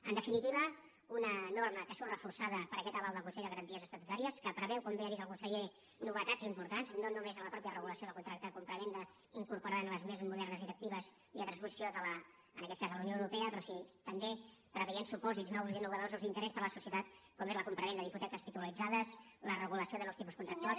en definitiva una norma que surt reforçada per aquest aval del consell de garanties estatutàries que preveu com bé ha dit el conseller novetats importants no només en la mateixa regulació del contracte de compravenda incorporant les més modernes directives i la transposició en aquest cas de la unió europea però sí que també preveient supòsits nous i innovadors usos d’interès per a la societat com és la compravenda d’hipoteques titularitzades la regulació de nous tipus contractuals